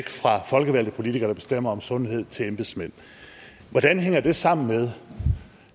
fra folkevalgte politikere der bestemmer om sundhed til embedsmænd hvordan hænger det sammen med